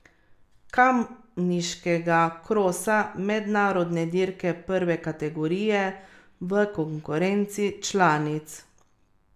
Kamniškega krosa, mednarodne dirke prve kategorije, v konkurenci članic.